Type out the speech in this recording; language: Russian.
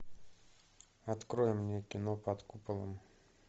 открой мне кино под куполом